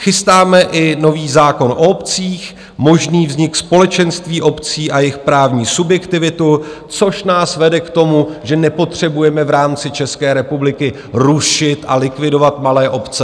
Chystáme i nový zákon o obcích, možný vznik společenství obcí a jejich právní subjektivitu, což nás vede k tomu, že nepotřebujeme v rámci České republiky rušit a likvidovat malé obce.